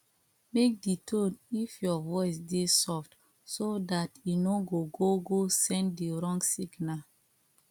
make di tone if your voice dey soft so dat e no go go send di wrong signal